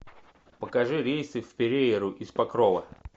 покажи рейсы в перейру из покрова